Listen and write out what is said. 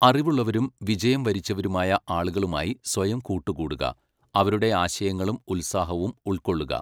അറിവുള്ളവരും വിജയം വരിച്ചവരുമായ ആളുകളുമായി സ്വയം കൂട്ടുകൂടുക, അവരുടെ ആശയങ്ങളും ഉത്സാഹവും ഉൾക്കൊള്ളുക.